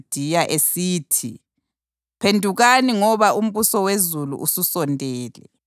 esithi, “Phendukani ngoba umbuso wezulu ususondele.”